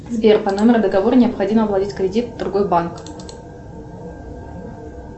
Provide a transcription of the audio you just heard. сбер по номеру договора необходимо оплатить кредит в другой банк